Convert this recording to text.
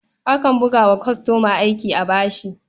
Akan buga wa kwastoma aiki a bashi.